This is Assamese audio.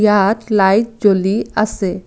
ইয়াত লাইট জ্বলি আছে।